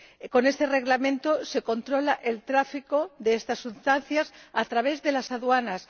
Con este Reglamento se controla el tráfico de estas sustancias a través de las aduanas.